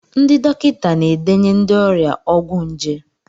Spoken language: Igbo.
Ndị dọkịta na-edenye ndị ọrịa ọgwụ nje.